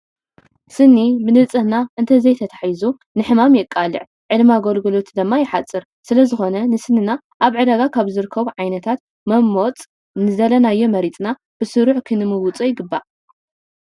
ስኒ ብንፅህና እንተዘይተታሒዙ ንሕማም ይቃላዕ ዕድመ ኣገልግሎቱ ድማ ይሓፀር፡፡ ስለዝኾነ ንስንና ኣብ ዕዳጋ ካብ ዝርከቡ ዓይነታት መመወፅ ንዝደለናዮ መሪፅና ብስሩዕ ክንምውፆ ይግባእ፡፡